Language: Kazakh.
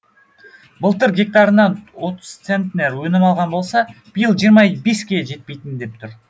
былтыр гектарынан отыз центнер өнім алған болса биыл жиырма беске жетпейін деп тұр